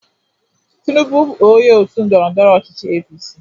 Tinubu bụ onye otu ndọrọndọrọ ọchịchị APC.